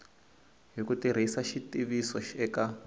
hi ku tirhisa xitiviso eka